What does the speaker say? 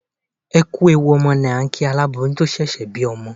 Ẹ kú ewu ọmọ là ń kí aláboyún tó ṣẹ̀ṣẹ̀ bí ọmọ.